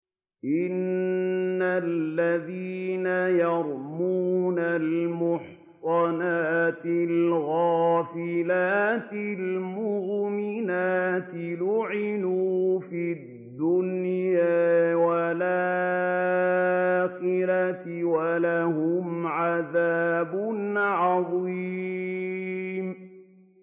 إِنَّ الَّذِينَ يَرْمُونَ الْمُحْصَنَاتِ الْغَافِلَاتِ الْمُؤْمِنَاتِ لُعِنُوا فِي الدُّنْيَا وَالْآخِرَةِ وَلَهُمْ عَذَابٌ عَظِيمٌ